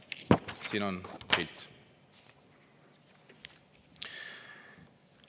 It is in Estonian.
Siin on pilt.